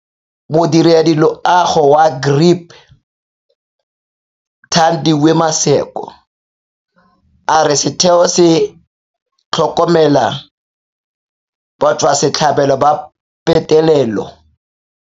Modirediloago wa GRIP Thandiwe Maseko a re setheo se tlhokomela batswasetlhabelo ba petelelo.